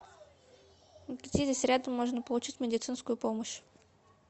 где здесь рядом можно получить медицинскую помощь